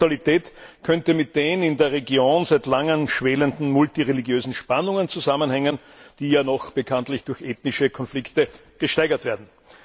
Diese Brutalität könnte mit den in der Region seit langem schwelenden multireligiösen Spannungen zusammenhängen, die ja noch bekanntlich durch ethnische Konflikte gesteigert werden.